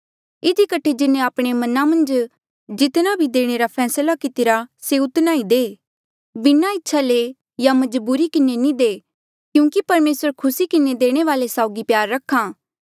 इधी कठे जिन्हें आपणे मना मन्झ जितना भी देणे रा फैसला कितिरा से उतना ई दे बिना इच्छा ले या मजबूरी किन्हें नी दे क्यूंकि परमेसर खुसी किन्हें देणे वाले साउगी प्यार रख्हा